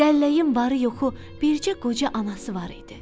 Dəlləyin varı-yoxu bircə qoca anası var idi.